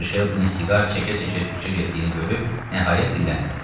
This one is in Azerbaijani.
Mister Şelbinin siqar çəkə-çəkə fikrə getdiyini görüb nəhayət dilləndi.